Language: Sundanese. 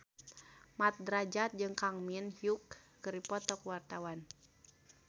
Mat Drajat jeung Kang Min Hyuk keur dipoto ku wartawan